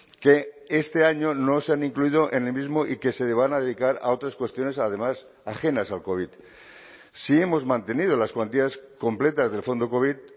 que este año no se han incluido en el mismo y que se van a dedicar a otras cuestiones además ajenas al covid sí hemos mantenido las cuantías completas del fondo covid